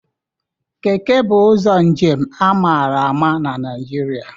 Keke bụ ụzọ njem a mara ama n'Naijiria